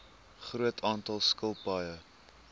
groot aantal skilpaaie